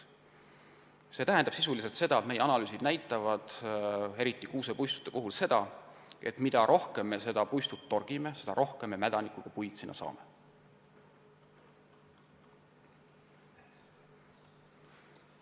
See tähendab sisuliselt seda – meie analüüsid näitavad seda, eriti kuusepuistute puhul –, et mida rohkem me puistut raiume, seda rohkem meil selles allesjäänud metsas mädanikuga puid on.